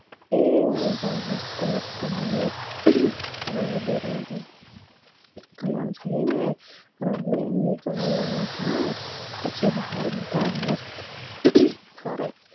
એ મસ્ત મસ્ત વાણી રંગ બેરંગી. કલર રહી ને રંગબેરંગી કલર વાડા થાય પછી બાહર બધા માસ્ટ ફરે